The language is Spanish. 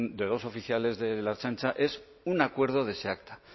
de dos oficiales de la ertzaintza es un acuerdo de esa acta